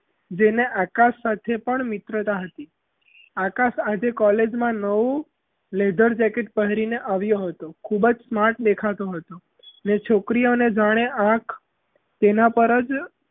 જેને આકાશ સાથે પણ મિત્રતા હતી આકાશ આજે college માં નવું leather jacket પહેરીને આવ્યો હતો ખૂબ જ smart દેખાતો હતો ને છોકરીઓને જાણે આંખ તેના પર જ,